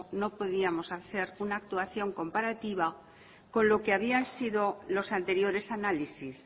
no podíamos hacer una actuación comparativa con lo que habían sido los anteriores análisis